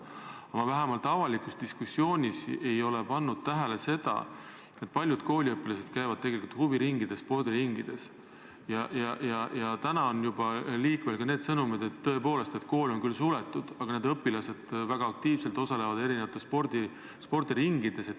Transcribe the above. Aga ma vähemalt avalikus diskussioonis ei ole pannud tähele küsimust, et kuigi on liikvel sõnumid, et kool on küll suletud, ent õpilased väga aktiivselt osalevad erinevates huviringides ja spordiringides.